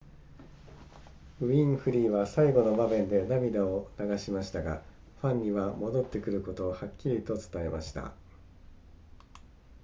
ウィンフリーは最後の場面で涙を流しましたがファンには戻ってくることをはっきりと伝えました